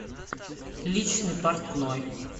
личный портной